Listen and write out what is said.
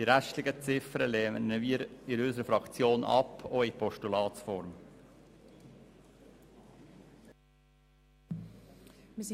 Die restlichen Ziffern der Vorstösse lehnt unsere Fraktion auch in Postulatsform ab.